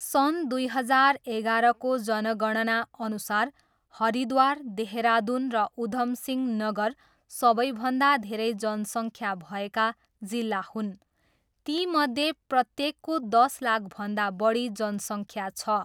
सन् दुई हजार एघारको जनगणनाअनुसार, हरिद्वार, देहरादुन, र उधम सिंह नगर सबैभन्दा धेरै जनसङ्ख्या भएका जिल्ला हुन्, तीमध्ये प्रत्येकको दस लाखभन्दा बढी जनसङ्ख्या छ।